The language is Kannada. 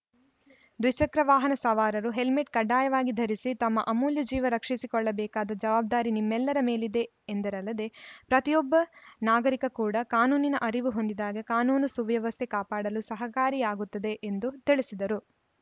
ದ್ವಿಚಕ್ರ ವಾಹನ ಸವಾರರು ಹೆಲ್ಮೆಟ್‌ ಕಡ್ಡಾಯವಾಗಿ ಧರಿಸಿ ತಮ್ಮ ಅಮೂಲ್ಯ ಜೀವ ರಕ್ಷಿಸಿ ಕೊಳ್ಳ ಬೇಕಾದ ಜವಾಬ್ದಾರಿ ನಿಮ್ಮೆಲ್ಲರ ಮೇಲಿದೆ ಎಂದರಲ್ಲದೇ ಪ್ರತಿಯೊಬ್ಬ ನಾಗರಿಕ ಕೂಡ ಕಾನೂನಿನ ಅರಿವು ಹೊಂದಿದಾಗ ಕಾನೂನು ಸುವ್ಯವಸ್ಥೆ ಕಾಪಾಡಲು ಸಹಕಾರಿಯಾಗುತ್ತದೆ ಎಂದು ತಿಳಿಸಿದರು